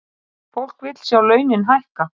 Fólk vill sjá launin hækka